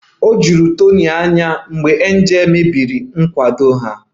O juru Tony anya mgbe Angel mebiri nkwado ha